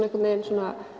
einhvern veginn